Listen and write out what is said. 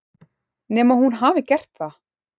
Nema hún hafi gert það.